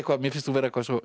mér finnst þú vera